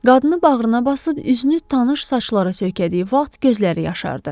Qadını bağrına basıb üzünü tanış saçlara söykədiyi vaxt gözləri yaşardı.